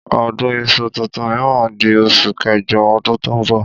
Ọdún iṣu tuntun mìíràn di osù kéjọ ọdún tó ń bọ̀.